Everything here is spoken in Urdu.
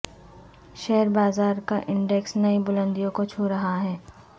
شیئر بازار کا انڈیکس نئی بلندیوں کو چھو رہا ہے